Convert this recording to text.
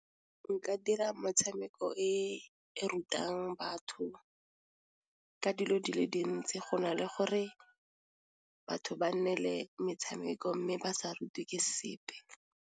Nka dira metshameko e e rutang batho ka dilo di le dintsi go na le gore batho ba nnele metshameko mme ba sa rutwe ke sepe.